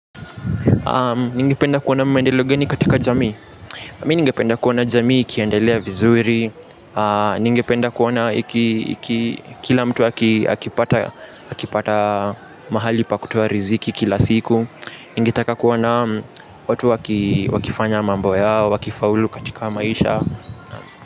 Ningependa kuona maendeleo gani katika jamii mimi ningependa kuona jamii ikiendelea vizuri ningependa kuona kila mtu akipata mahali pa kutoa riziki kila siku. Ningetaka kuona watu wakifanya mambo yao, wakifaulu katika maisha.